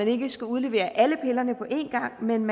ikke skal udlevere alle pillerne på en gang men